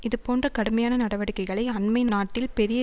இதுபோன்ற கடுமையான நடவடிக்கைகளை அண்மை நாட்டில் பெரிய